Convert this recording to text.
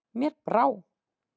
Mér bara brá.